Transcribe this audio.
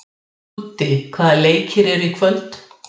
Þeir hafa þó aðeins einu sinni unnið á útivelli á leiktíðinni.